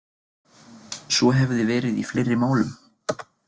Svo hefði verið í fleiri málum